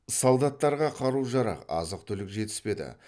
солдаттарға қару жарақ азық түлік жетіспеді